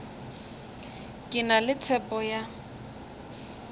ke na le tshepo ya